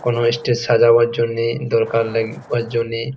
কোনো স্টেজ সাজানোর জন্যে দরকার লাগে ওর জন্যে।